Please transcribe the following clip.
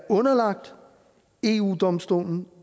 underlagt eu domstolen